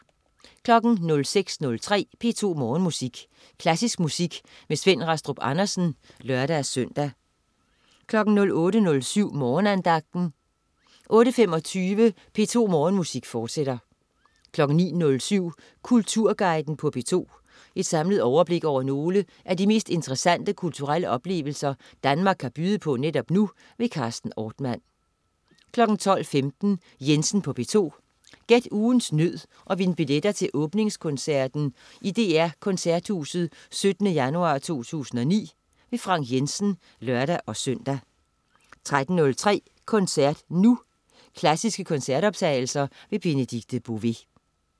06.03 P2 Morgenmusik. Klassisk musik med Svend Rastrup Andersen (lør-søn) 08.07 Morgenandagten 08.25 P2 Morgenmusik, fortsat 09.07 Kulturguiden på P2. Et samlet overblik over nogle af de mest interessante kulturelle oplevelser Danmark kan byde på netop nu. Carsten Ortmann 12.15 Jensen på P2. Gæt ugens nød og vind billetter til åbningskoncerten i DR Koncerthuset 17. januar 2009. Frank Jensen (lør-søn) 13.03 Koncert Nu. Klassiske koncertoptagelser. Benedikte Bové